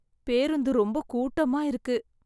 பேருந்து ரொம்ப கூட்டமா இருக்கு